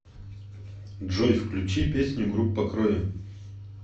джой включи песню группа крови